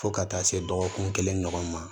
Fo ka taa se dɔgɔkun kelen ɲɔgɔn ma